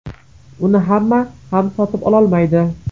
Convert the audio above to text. Uni hamma ham sotib ololmaydi.